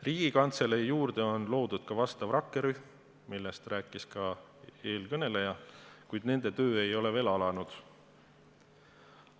Riigikantselei juurde on loodud rakkerühm, millest rääkis ka eelkõneleja, kuid nende töö ei ole veel alanud.